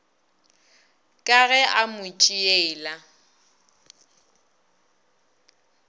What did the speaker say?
ka ge a mo tšeela